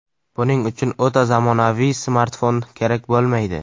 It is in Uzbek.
Buning uchun o‘ta zamonaviy smartfon kerak bo‘lmaydi.